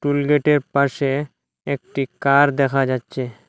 টুলগেটের পাশে একটি কার দেখা যাচ্ছে।